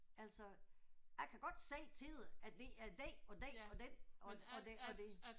Altså jeg kan godt sige til dig at det er den og den og den og det og det